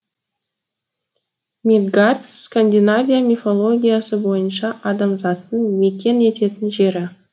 мидгард скандинавия мифологиясы бойынша адамзаттың мекен ететін жері